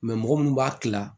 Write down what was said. mɔgɔ munnu b'a kila